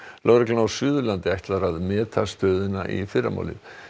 lögreglan á Suðurlandi ætlar að meta stöðuna í fyrramálið